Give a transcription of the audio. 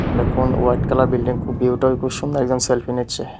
এটা কোন হোয়াইট কালারের বিল্ডিং খুব ভিউটা সুন্দর একজন সেলফি নিচ্ছে।